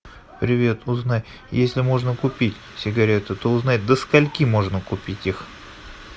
привет узнай если можно купить сигареты то узнай до скольки можно купить их